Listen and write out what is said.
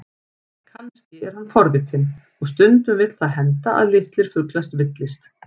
Kannski er hann forvitinn, og stundum vill það henda að litlir fuglar villist.